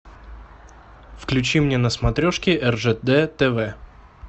включи мне на смотрешке ржд тв